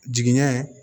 Jigiɲɛ